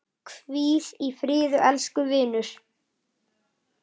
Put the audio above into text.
Hvíl í friði elsku vinur!